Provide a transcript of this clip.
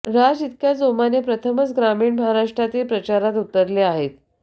राज इतक्या जोमाने प्रथमच ग्रामीण महाराष्ट्रातील प्रचारात उतरले आहेत